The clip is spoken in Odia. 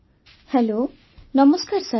ବର୍ଷାବେନ୍ ହ୍ୟାଲୋ ନମସ୍କାର ସାର୍